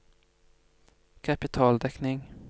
kapitaldekning